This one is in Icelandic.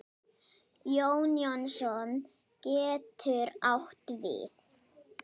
Jón Jónsson getur átt við